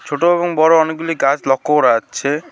ছোট এবং বড়ো অনেকগুলি গাছ লক্ষ্য করা যাচ্ছে।